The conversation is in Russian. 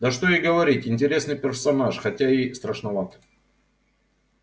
да что и говорить интересный персонаж хотя и страшноват